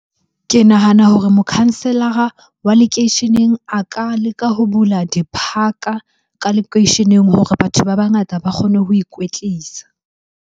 Ke nahana hore mokhanselara wa lekeisheneng a ka leka ho bula di-park-a lekweisheneng hore batho ba bangata ba kgone ho ikwetlisa.